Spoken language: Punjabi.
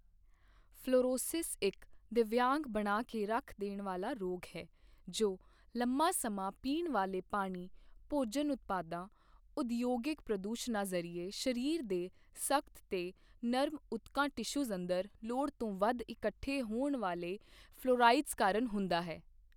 ਫ਼ਲੋਰੋਸਿਸ ਇੱਕ ਦਿਵਯਾਂਗ ਬਣਾ ਕੇ ਰੱਖ ਦੇਣ ਵਾਲਾ ਰੋਗ ਹੈ ਜੋ ਲੰਮਾ ਸਮਾਂ ਪੀਣ ਵਾਲੇ ਪਾਣੀ ਭੋਜਨ ਉਤਪਾਦਾਂ ਉਦਯੋਗਿਕ ਪ੍ਰਦੂਸ਼ਣਾਂ ਜ਼ਰੀਏ ਸਰੀਰ ਦੇ ਸਖ਼ਤ ਤੇ ਨਰਮ ਊਤਕਾਂ ਟਿਸ਼ੂਜ਼ ਅੰਦਰ ਲੋੜ ਤੋਂ ਵੱਧ ਇਕੱਠੇ ਹੋਣ ਵਾਲੇ ਫ਼ਲੋਰਾਇਡਜ਼ ਕਾਰਣ ਹੁੰਦਾ ਹੈ।